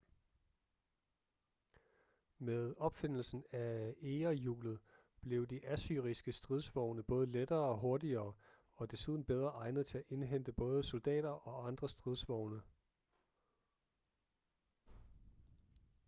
med opfindelsen af egerhjulet blev de assyriske stridsvogne både lettere hurtigere og desuden bedre egnet til at indhente både soldater og andre stridsvogne